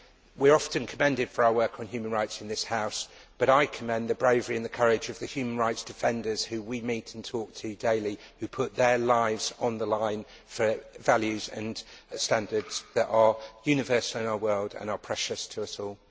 We are often commended for our work on human rights in this House but I commend the bravery and the courage of the human rights defenders whom we meet and talk to daily, who put their lives on the line for values and standards that are universal in our world and are precious to us all.